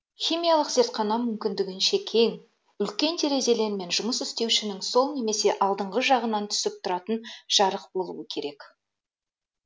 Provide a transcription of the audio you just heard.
химиялық зертхана мүмкіндігінше кең үлкен терезелер мен жұмыс істеушінің сол немесе алдыңғы жағынан түсіп тұратын жарық болуы керек